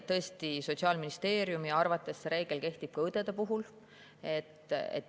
Tõesti, Sotsiaalministeeriumi arvates kehtib see reegel ka õdede puhul.